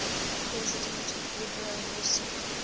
president woodrow wilson